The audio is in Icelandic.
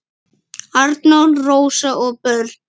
Arnór, Rósa og börn.